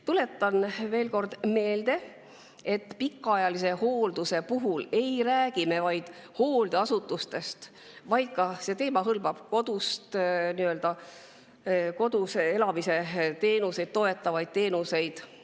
Tuletan veel kord meelde, et pikaajalise hoolduse puhul ei räägi me vaid hooldeasutustest, vaid see teema hõlmab ka kodus elamise teenuseid, toetavaid teenuseid.